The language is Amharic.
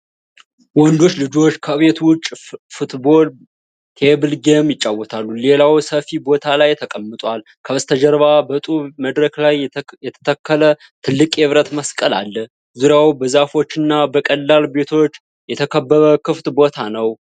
ወንዶች ልጆች ከቤት ውጭ ፉትቦል ቴብል ጌም ይጫወታሉ። ሌላው ሰፊ ቦታ ላይ ተቀምጧል። ከበስተጀርባ በጡብ መድረክ ላይ የተተከለ ትልቅ የብረት መስቀል አለ። ዙሪያው በዛፎች እና በቀላል ቤቶች የተከበበ ክፍት ቦታ ነው።